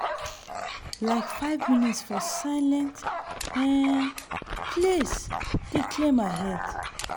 like five minute for silent um place dey clear my head.